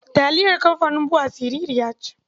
Taliyar kamfanin BUA siririya ce.